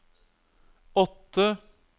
åtte